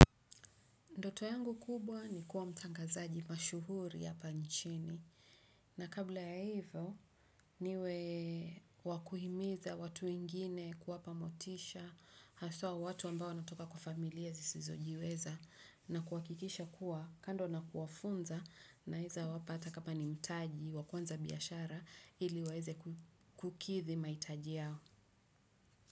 Ndoto yangu kubwa ni kuwa mtangazaji mashuhuri yapa nchini. Na kabla ya evo, niwe wakuhimiza watu wengine kuwapa motisha, hasua watu ambao natoka kwa familia zisizojiweza, na kuwakikisha kuwa kando na kuwafunza na neza wapa ata kama ni mtaji wakuanza biyashara ili waeze kukithi maitaji yao.